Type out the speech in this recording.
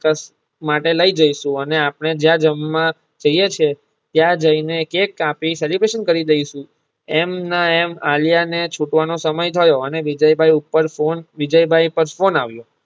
માટે લઈ જઈશું અને આપણે જ્યાં જમવા જઈએ છીએ ત્યાં જઈને કેક કાપી celebration કરી દઇશું. એમના એમ આલિયા ને છૂટવાનો સમય થયો અને વિજય ભાઈ ઉપર ફોન વિજય ભાઈ ઉપર ફોન આવ્યો.